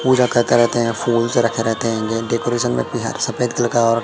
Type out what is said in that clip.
पूजा करते रहते हैं फूल्स रखे रहते हैं डेकोरेशन भी है सफेद कलर का और--